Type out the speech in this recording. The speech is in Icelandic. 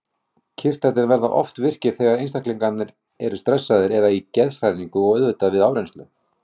Kirtlarnir verða oft virkir þegar einstaklingurinn er stressaður eða í geðshræringu og auðvitað við áreynslu.